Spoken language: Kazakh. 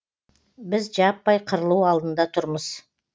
біз жаппай қырылу алдында тұрмыз